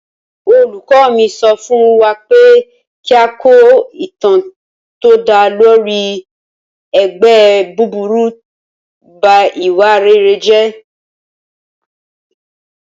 Olùkọ́ mi sọ fún wa pé kí a kọ ìtàn tó dá lórí 'ẹgbẹ́ búburú ń ba ìwà rere jẹ́'